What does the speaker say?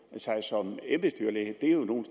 sig som en embedsdyrlæge det er jo nogle